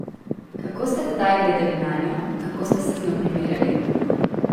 Kako ste tedaj gledali nanjo, kako ste se z njo primerjali?